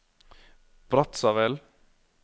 Brazzaville